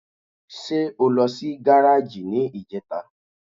Ṣé o lọ sí gáràjì ní ìjẹta?